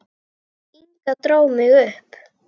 Inga dró mig upp.